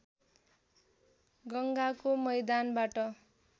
गङ्गाको मैदानबाट